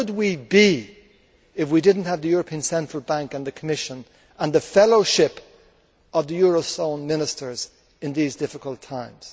Where would we be if we did not have the European Central Bank and the Commission and the fellowship of the eurozone ministers in these difficult times?